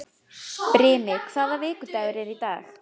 Brimi, hvaða vikudagur er í dag?